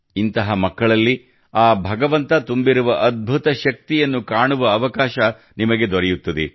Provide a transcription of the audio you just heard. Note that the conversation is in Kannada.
ಇಂತಹ ಮಕ್ಕಳಲ್ಲಿ ಆ ಭಗವಂತ ತುಂಬಿರುವ ಅದ್ಭುತ ಶಕ್ತಿಯನ್ನು ಕಾಣುವ ಅವಕಾಶ ನಿಮಗೆ ದೊರೆಯುತ್ತದೆ